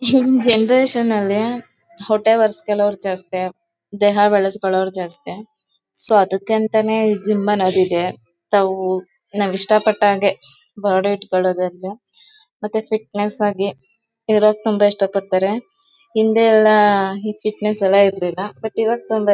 ಈಗಿನ ಜನರೇಶನ್ ಅಲ್ಲಿ ಹೊಟ್ಟೆ ಬರ್ಸ್ಕೊಳ್ಳೋರ್ ಜಾಸ್ತಿ ದೇಹ ಬೆಳ್ಸ್ಕೊಳ್ಳೋರ್ ಜಾಸ್ತಿ. ಸೊ ಅದಕ್ಕೆ ಅಂತಾನೆ ಜಿಮ್ ಅನ್ನೋದು ಇದೆ. ತಾವು ನಾವ್ ಇಷ್ಟ ಪಟ್ಟಾಗೇ ಬಾಡಿ ಇಟ್ಕೊಳ್ಳೋದ್ ಅಲ್ದೇ ಮತ್ತೆ ಫಿಟ್ನೆಸ್ ಆಗಿ ಇರೋದು ತುಂಬಾ ಇಷ್ಟ ಪಡ್ತಾರೆ. ಹಿಂದೆ ಎಲ್ಲ ಈ ಫಿಟ್ನೆಸ್ ಎಲ್ಲ ಇರ್ಲಿಲ ಬಟ್ ಇವಾಗ ತುಂಬಾ--